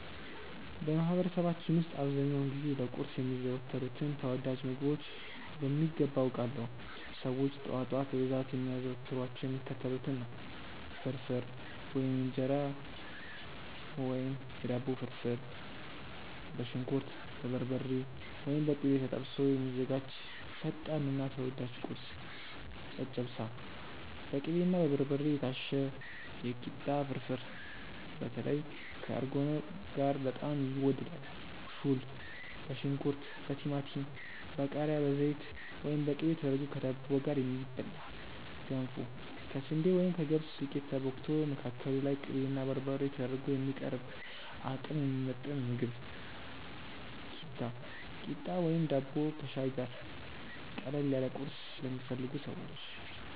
በማህበረሰባችን ውስጥ አብዛኛውን ጊዜ ለቁርስ የሚዘወተሩትን ተወዳጅ ምግቦች በሚገባ አውቃለሁ! ሰዎች ጠዋት ጠዋት በብዛት የሚያዘወትሯቸው የሚከተሉትን ነው፦ ፍርፍር (የእንጀራ ወይም የዳቦ ፍርፍር)፦ በሽንኩርት፣ በበርበሬ (ወይም በቅቤ) ተጠብሶ የሚዘጋጅ ፈጣንና ተወዳጅ ቁርስ። ጨጨብሳ፦ በቅቤና በበርበሬ የታሸ የኪታ ፍርፍር (በተለይ ከእርጎ ጋር በጣም ይወደዳል)። ፉል፦ በሽንኩርት፣ በቲማቲም፣ በቃሪያ፣ በዘይት ወይም በቅቤ ተደርጎ ከዳቦ ጋር የሚበላ። ገንፎ፦ ከስንዴ ወይም ከገብስ ዱቄት ተቦክቶ፣ መካከሉ ላይ ቅቤና በርበሬ ተደርጎ የሚቀርብ አቅም የሚሰጥ ምግብ። ኪታ፣ ቂጣ ወይም ዳቦ ከሻይ ጋር፦ ቀለል ያለ ቁርስ ለሚፈልጉ ሰዎች።